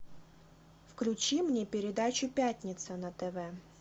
включи мне передачу пятница на тв